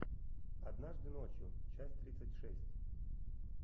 однажды ночью часть тридцать шесть